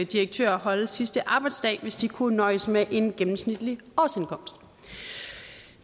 direktører holde sidste arbejdsdag hvis de kunne nøjes med en gennemsnitlig årsindkomst